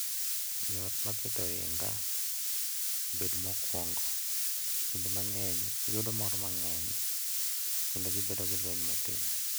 Jo ot ma keto ohinga obed mokuongo, kinde mang’eny yudo mor mang’eny kendo bedo gi lweny matin.